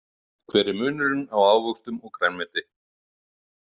Hver er munurinn á ávöxtum og grænmeti?